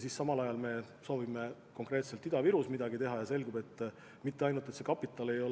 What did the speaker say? Ja samal ajal me sooviksime konkreetselt Ida-Virus midagi teha, ent selguks, et kapital mitte